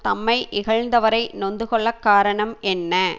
தம்மை இகழ்கின்றவரை நொந்து கொள்ள காரணம் என்ன